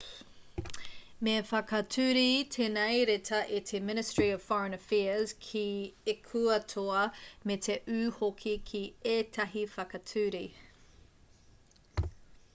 me whakature tēnei reta e te ministry of foreign affairs ki ekuatoa me te ū hoki ki ētahi whakature